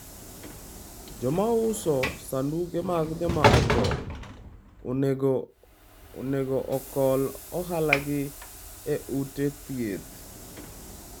Joma uso sanduge mag joma othoo onego ogol ohalagi e ute thieth